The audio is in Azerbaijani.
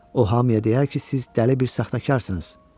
O hamıya deyər ki, siz dəli bir saxtakarsınız.